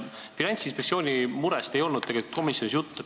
Finantsinspektsiooni murest ei olnud komisjonis juttu.